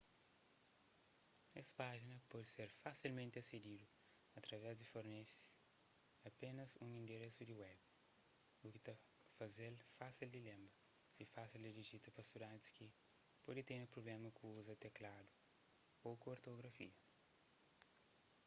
es pájina pode ser fasilmenti asedidu através di fornese apénas un inderesu di web u ki ta faze-l fásil di lenbra y fásil di dijita pa studantis ki pode tene prubléma ku uza tekladu ô ku ortografia